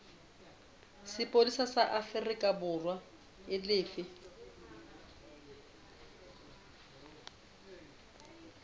sepolesa sa aforikaborwa e lefe